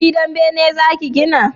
gidan bene za ki gina?